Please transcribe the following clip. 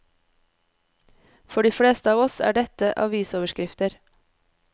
For de fleste av oss er dette avisoverskrifter.